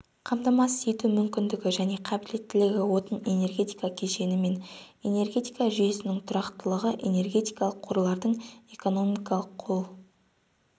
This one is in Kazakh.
қамтамасыз ету мүмкіндігі және қабілеттілігі отын-энергетика кешені мен энергетика жүйесінің тұрақтылығы энергетикалық қорлардың экономикалық қол